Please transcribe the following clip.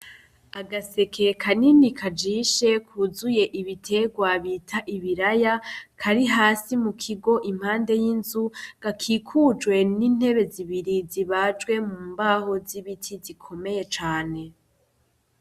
Agaseke kanini kajishe kuzuye ibiterwa bita ibiraya ,kari hasi mukigo impande y'inzu, gakikujwe n'intebe zibiri zibajwe mumbaho z'ibiti zikomeye cane.